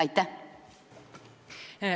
Aitäh!